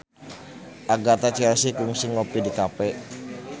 Agatha Chelsea kungsi ngopi di cafe